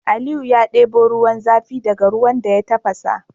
Aliyu ya debo ruwan zafi daka ruwan da ya tafasa